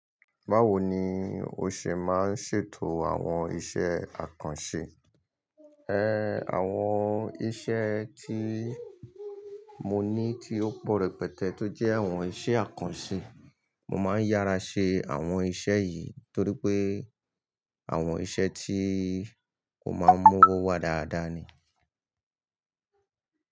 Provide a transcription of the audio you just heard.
Báwo ni o ṣè máa ń ṣètò àwọn iṣẹ́ àkànṣe? Àwọn iṣẹ́ tí mo ní tí ó pọ̀ rẹpẹtẹ tó jẹ́ àwọn iṣẹ́ àkànṣe. Mo máa ń yára ṣe àwọn iṣẹ́ yìí torí pé àwọn iṣẹ́ tí kò máa ń mú owó wá dáadáa ni.